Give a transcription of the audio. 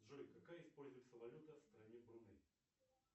джой какая используется валюта в стране бруней